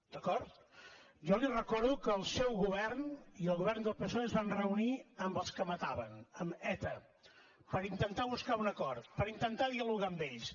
d’acord jo li recordo que el seu govern i el govern del psoe es van reunir amb els que mataven amb eta per intentar buscar un acord per intentar dialogar amb ells